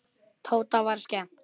Tóta var skemmt.